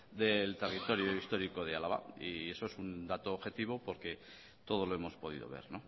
del territorio histórico de álava y eso es un dato objetivo porque todos lo hemos podido ver